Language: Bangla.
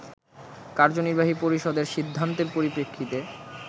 কার্যনির্বাহী পরিষদের সিদ্ধান্তের পরিপ্রেক্ষিতে